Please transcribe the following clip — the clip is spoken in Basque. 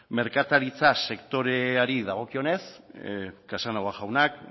merkataritza sektoreari dagokionez casanova jaunak